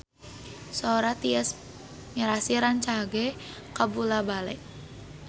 Sora Tyas Mirasih rancage kabula-bale